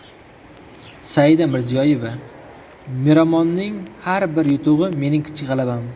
Saida Mirziyoyeva: Miromonning har bir yutug‘i mening kichik g‘alabam.